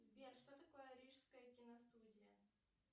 сбер что такое рижская киностудия